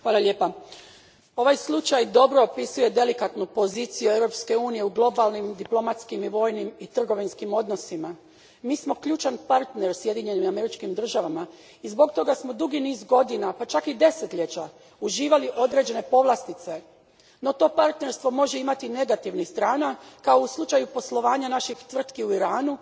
Gospođo predsjednice, ovaj slučaj dobro opisuje delikatnu poziciju Europske unije u globalnim diplomatskim, vojnim i trgovinskim odnosima. Mi smo ključan partner Sjedinjenim Američkim Državama i zbog toga smo dugi niz godina, pa čak i desetljeća, uživali određene povlastice, no to partnerstvo može imati i negativnih strana kao u slučaju poslovanja naših tvrtki u Iranu